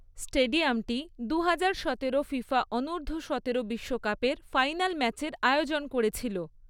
স্টেডিয়ামটি দুহাজার সতেরো ফিফা অনূর্ধ্ব সতেরো বিশ্বকাপের ফাইনাল ম্যাচের আয়োজন করেছিল।